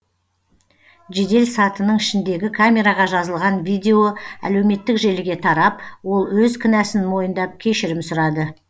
жедел сатының ішіндегі камераға жазылған видео әлеуметтік желіге тарап ол өз кінәсін мойындап кешірім сұрады